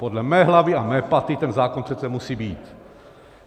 Podle mé hlavy a mé paty ten zákon přece musí být.